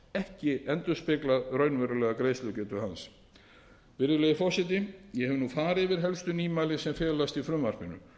ekki endurspeglað raunverulega greiðslugetu hans virðulegi forseti ég hef nú farið yfir helstu nýmæli sem felast í frumvarpinu